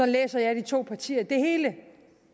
læser jeg de to partier det hele